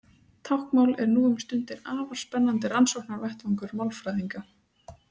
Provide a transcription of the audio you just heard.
Táknmál er nú um stundir afar spennandi rannsóknarvettvangur málfræðinga.